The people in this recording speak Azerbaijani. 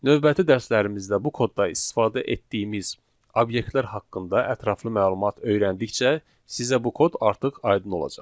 Növbəti dərslərimizdə bu kodda istifadə etdiyimiz obyektlər haqqında ətraflı məlumat öyrəndikcə sizə bu kod artıq aydın olacaq.